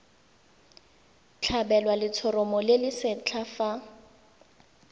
tlhabelwa letshoroma le lesetlha fa